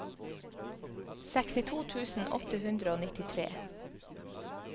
sekstito tusen åtte hundre og nittitre